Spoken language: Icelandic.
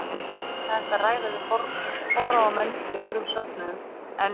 Auðvitað er líka hægt að ræða við forráðamenn í öðrum söfnuðum en